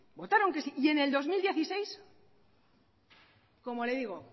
votaron que sí y en el dos mil dieciséis como le digo